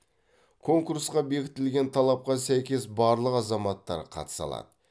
конкурсқа бекітілген талапқа сәйкес барлық азаматтар қатыса алады